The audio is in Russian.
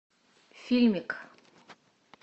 фильмик